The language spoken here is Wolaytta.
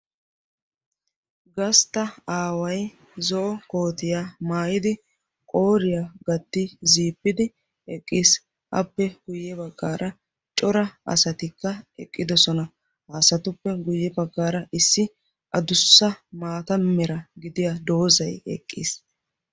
Gastta away zo'o koottiyaa maayidi qooriya gatti ziippidi eqqiis. Appe guye baggaara cora asatikka eqqidosona. Ha asatuppe guye baggaara issi adussa maataa mera gidiya dozaykka eqqiis.